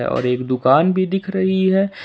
और एक दुकान भी दिख रही हैं।